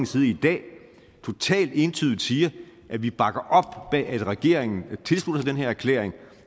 side i dag totalt entydigt siger at vi bakker op om at regeringen tilslutter sig den her erklæring